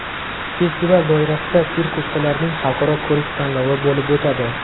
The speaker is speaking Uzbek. Festival doirasida sirk ustalarining Xalqaro ko‘rik-tanlovi bo‘lib o‘tadi.